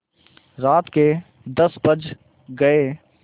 रात के दस बज गये